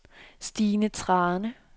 Stine Thrane